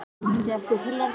Það er ekki sanngjarnt.